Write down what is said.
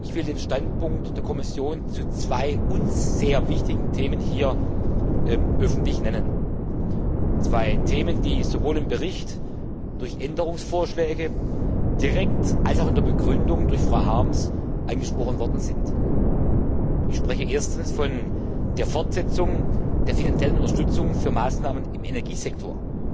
Ich will den Standpunkt der Kommission zu zwei uns sehr wichtigen Themen hier öffentlich nennen, zwei Themen, die sowohl direkt im Bericht durch Änderungsvorschläge als auch in der Begründung von Frau Harms angesprochen worden sind. Ich spreche erstens von der Fortsetzung der finanziellen Unterstützung für Maßnahmen im Energiesektor.